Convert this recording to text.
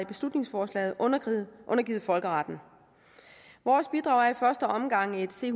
beslutningsforslaget undergivet folkeretten og vores bidrag er i første omgang et c